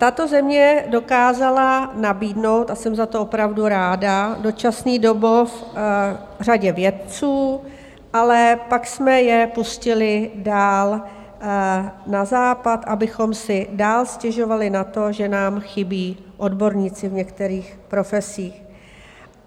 Tato země dokázala nabídnout - a jsem za to opravdu ráda - dočasný domov řadě vědců, ale pak jsme je pustili dál na Západ, abychom si dál stěžovali na to, že nám chybí odborníci v některých profesích.